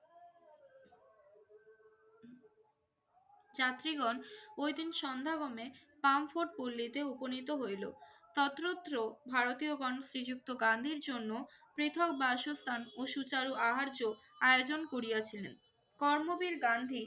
যাত্রীগণ ওই দিন সন্ধ্যা হলে ফ্রাঙ্কফুর্ট পল্লীতে উপনীত হইল। সশ্রদ্ধ ভারতীয়গণ শ্রীযুক্ত গান্ধীর জন্য পৃথক বাসস্থান ও সুচারু আহার্য আয়োজন করিয়াছেন। কর্মবীর গান্ধী